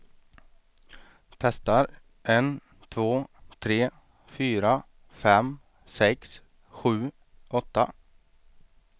Testar en två tre fyra fem sex sju åtta.